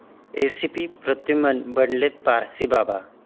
ACP Pradyumna बनलेत पारसीबाबा!